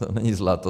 To není zlato.